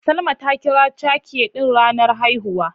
Salma ta kira cake ɗin ranar haihuwa.